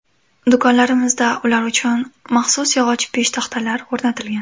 Do‘konlarimizda ular uchun maxsus yog‘och peshtaxtalar o‘rnatilgan.